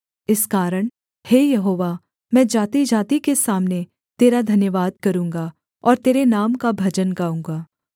इस कारण हे यहोवा मैं जातिजाति के सामने तेरा धन्यवाद करूँगा और तेरे नाम का भजन गाऊँगा